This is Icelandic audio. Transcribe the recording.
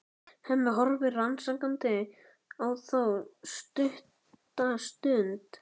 Hemmi horfir rannsakandi á þá stutta stund.